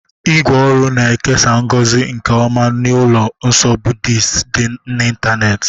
ígwè ọrụ na-ekesa ngozi nke ọma n'ụlọ nsọ Buddisiti dị n'ịntanetị.